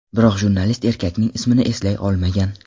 Biroq jurnalist erkakning ismini eslay olmagan.